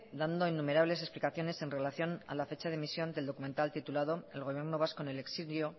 dando innumerables explicaciones en relación a la fecha de emisión del documental titulado el gobierno vasco en el exilio